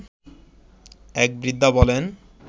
এক বৃদ্ধা বলেন